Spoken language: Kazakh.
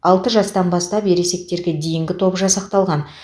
алты жастан бастап ересектерге дейінгі топ жасақталған